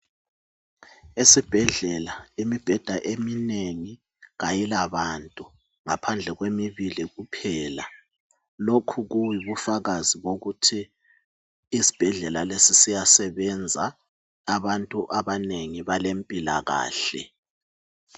Esibhedlela imibheda eminengi kayilabantu ngaphandle kwemibili kuphela lokhu kuyibufakazi bokuthi isibhedlela lesi siyasebenzi abantu abanengi balempilakahle.